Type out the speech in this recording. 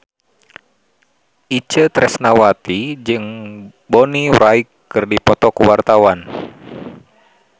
Itje Tresnawati jeung Bonnie Wright keur dipoto ku wartawan